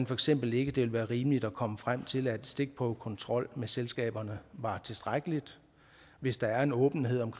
for eksempel ikke det ville være rimeligt at komme frem til at stikprøvekontrol med selskaberne var tilstrækkelig hvis der er en åbenhed om